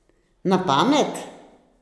Na pamet?